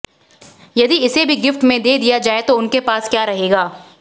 यदि इसे भी गिफ्ट में दे दिया जाए तो उनके पास क्या रहेगा